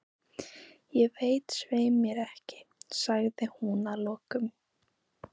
Ég veit svei mér ekki, sagði hún að lokum.